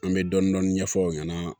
An bɛ dɔɔnin dɔɔnin ɲɛfɔ u ɲɛna